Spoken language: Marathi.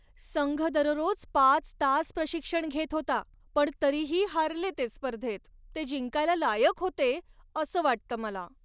संघ दररोज पाच तास प्रशिक्षण घेत होता पण तरीही हारले ते स्पर्धेत. ते जिंकायला लायक होते असं वाटतं मला.